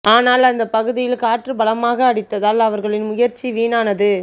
ஆனால் அந்த பகுதியில் காற்று பலமாக அடித்ததால் அவர்களின் முயற்சி வீணானது